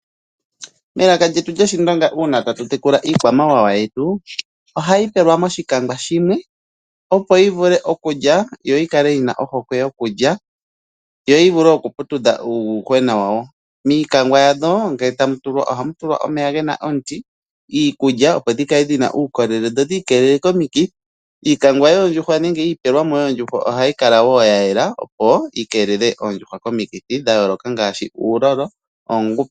Melaka lyetu lyOshindonga uuna tatu tekula iikwamawawa yetu ohayi pelwa moshikwangwa shimwe, opo yi vule okulya yo yi kale yi na ohokwe yokulya yo yi vule okuputudha uuyuhwena wadho. Miikwangwa yadho ngele tamu tulwa ohamu tulwa omeya ge na omuti, iikulya opo dhi kale dhi na uukolele dho dhi ikeelele komikithi. Iikwangwa nenge iipelwa mo yoondjuhwa ohayi kala wo ya yela, opo yi keelele oondjuhwa komikithi ngaashi uulolo.